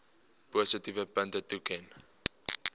positiewe punte toeken